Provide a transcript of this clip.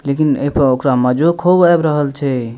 लेकिन ए पर ओकरा मजो खूब आब रहल छै।